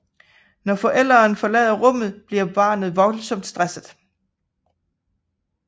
Når forælderen forlader rummet bliver barnet voldsomt stresset